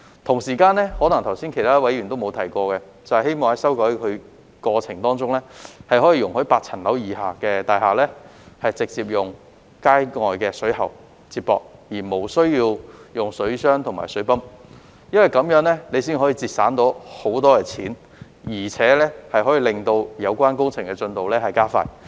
同時，剛才其他議員可能也沒有提到，就是希望在修改過程中，容許8層樓以下的大廈直接使用街外水喉接駁，無須使用水箱和水泵，因為這樣才可以節省大量金錢，亦可令有關工程進度加快。